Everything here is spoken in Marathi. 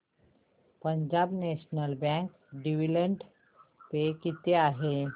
Punjab national bank dividend pay किती आहे